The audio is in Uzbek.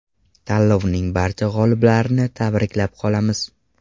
Tanlovning barcha g‘oliblarini tabriklab qolamiz!